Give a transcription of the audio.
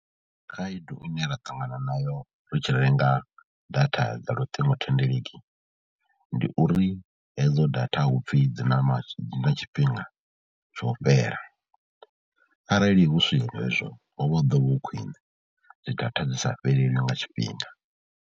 Khaedu ine ra ṱangana nayo ri tshi renga data dza luṱingothendeleki, ndi uri hedzo data hu pfhi dzi na tshifhinga tsho fhela arali hu si hezwo ho vha hu ḓo vha hu khwine, dzi data dzi sa fhelelwi nga tshifhinga.